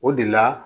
O de la